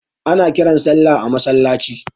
Ana kiran sallah a masallaci.